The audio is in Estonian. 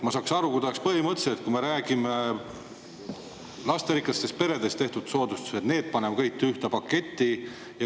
Ma saaks aru, kui te oleks lasterikastele peredele tehtavad soodustused kõik ühte paketti pannud.